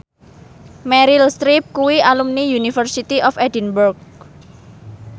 Meryl Streep kuwi alumni University of Edinburgh